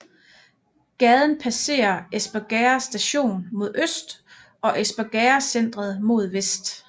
Gaden passerer Espergærde Station mod øst og Espergærdecentret mod vest